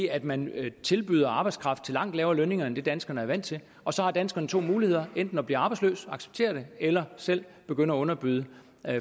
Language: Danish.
at man tilbyder arbejdskraft til langt lavere lønninger end det danskerne er vant til og så har danskerne to muligheder enten at blive arbejdsløse acceptere det eller selv begynde at underbyde